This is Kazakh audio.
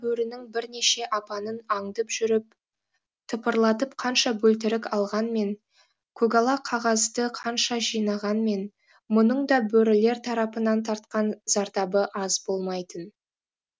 бөрінің бірнеше апанын аңдып жүріп тыпырлатып қанша бөлтірік алғанмен көгала қағазды қанша жинағанмен мұның да бөрілер тарапынан тартқан зардабы аз болмайтын